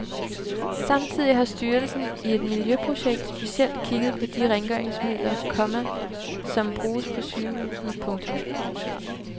Samtidig har styrelsen i et miljøprojekt specielt kigget på de rengøringsmidler, komma som bruges på sygehusene. punktum